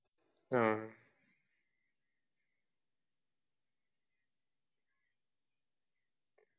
ആ